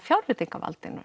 fjárveitingum